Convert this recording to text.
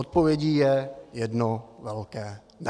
Odpovědí je jedno velké ne.